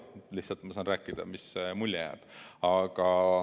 Ma lihtsalt räägin, mis mulje jääb.